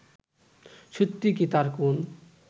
সত্যিই কি তার কোন